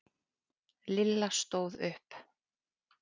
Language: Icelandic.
Lilla stóð upp.